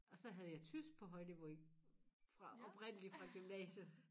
Og så havde jeg tysk på højniveau i fra oprindeligt fra gymnasiet